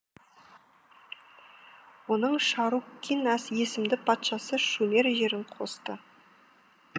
оның шаруккин есімді патшасы шумер жерін қосты